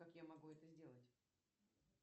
как я могу это сделать